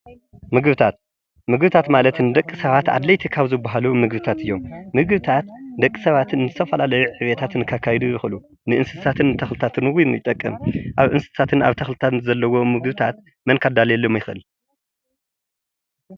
ምግብታት ምግብታት ማለት ንደቂ ሰባት ኣድለይቲ ካብ ዝበሃሉ ምግብታት እዮም:: ምግብታት ደቂ ሰባት ንዝተፈላለዩ ዕቤታት ከካይዱ ይክእሉ እዮም። ንእንስሳትን ተክልታት እዉን ይጠቅም ኣብ እንስሳትን ኣብ ተክልታትን መን ከዳልየሎም ይክእል ?